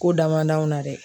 K'o da man di anw na dɛ